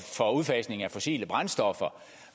udfasningen af fossile brændstoffer